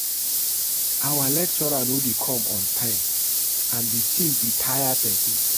Our lecturer no dey come on time and the thing dey tire person